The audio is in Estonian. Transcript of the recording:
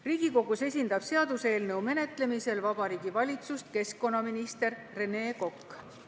Riigikogus esindab seaduseelnõu menetlemisel Vabariigi Valitsust keskkonnaminister Rene Kokk.